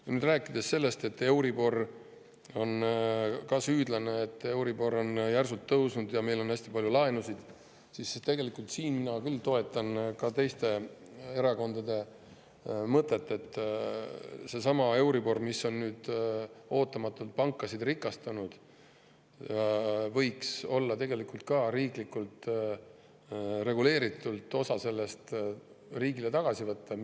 Kui nüüd rääkida sellest, et euribor on ka süüdlane, sest euribor on järsult tõusnud ja meil on hästi palju laenusid, siis tegelikult siin ma küll toetan ka teiste erakondade mõtet, et osa tänu euriborile, mis on nüüd ootamatult pankasid rikastanud, võiks riiklikult reguleeritult tagasi võtta.